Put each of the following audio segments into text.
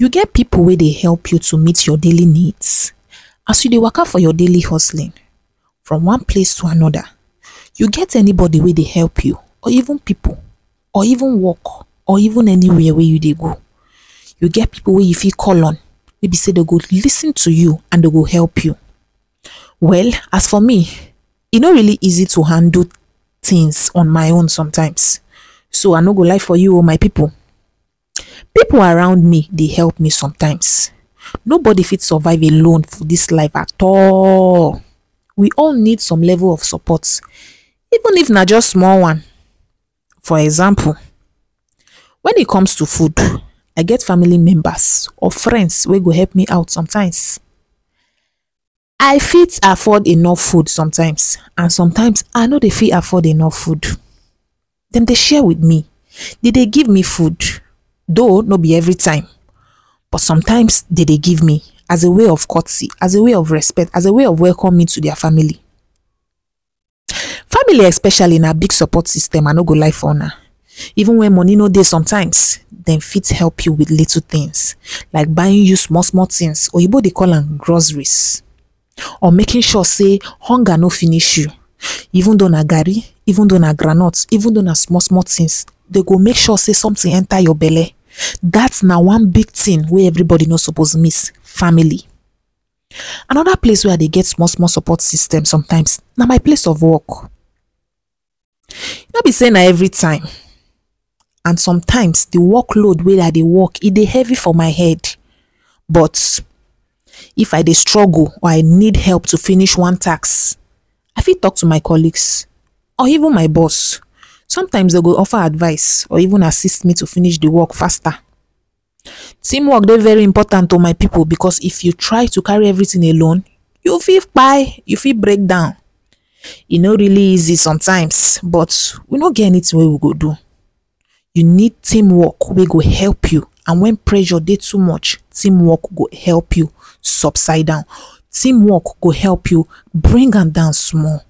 You get pipu wey dey help you to meet your delay needs? As you dey waka for your daily hustling from one place to another you get any body wey dey help you or even pipu or even work or even every where wey you dey go you get pipu wey you fit call on wey be sey dem go lis ten to you and dem go help you. well as for me e no really easy to handle things on my own sometimes so I no go lie for you oo my pipu, pipu around me dey help me sometimes no body fit survive alone for dis life at all we all need some level of support even if na just small one for example, when e comes to food I get family members or friends wey go help me out sometimes. I fit afford enough food some times and sometimes I no dey fit afford enough food dem dey share with me, dem dey give me food. though no be every time but sometimes dey dey give me as a way of courtesy, as a way of respect, as a way of welcoming me to their family. family especially na big support system I no go lie for una even though money no dey sometimes dem fit help you with little things like buying you small small things oyimbo dey call am groceries or making sure sey hunger no finish you even dou na gari, even dou na ground nut, even dou na small small things dem go make sure sey something enter your belle dat na one big thing wey everybody no suppose miss family another place wey I dey get small small support system sometimes na my place of work no be sey na every time and sometimes work load wey I dey work e dey heavy for my head but if I dey struggle or I need help to finish one task I fit talk to my colleagues or even my boss some times dem go offer advice or even assist me finish dey work faster. team work dey very important o my pipu because if you try to take everything alone you go fit you go fit breakdown e no really easy sometimes but we no get any thing wey we go do we need team work wey go help you and when pressure dey too much team work go help you subside am team work go help you bring am down small.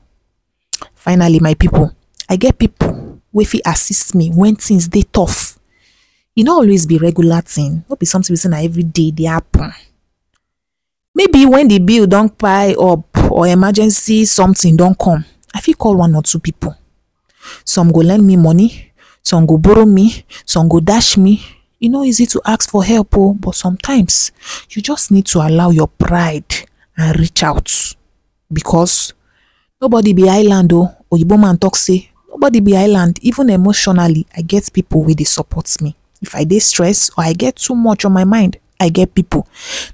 finally my pipu I get pipu wey go fit assist me when things dey taught e no always regular thing be sey be regular thing no be something wey be sey na everyday e dey happen, maybe when de bill don pile up or emergency something don come I fit call out one or two pipu some go lend me money some go borrow me some go dash me e no easy to ask for help o but sometimes you just need to allow your pride and reach out because no body be Island o oyimbo man talk sey no be ever body be island even emotionally I get pipu wey dey support me if I dey stress or I get too much on my mind I get pipu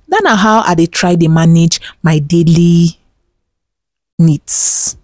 dat na how I dey try manage my daily needs